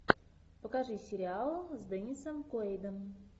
покажи сериал с деннисом куэйдом